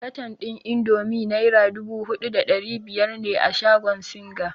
Katan ɗin indomi naira dubu huɗu da ɗari biyar ne a shagon singa.